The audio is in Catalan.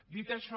dit això